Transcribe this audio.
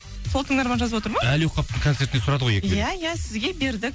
сол тыңдарман жазып отыр ма әли оқаповтың концертіне сұрады ғой екі билет иә иә сізге бердік